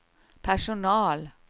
personal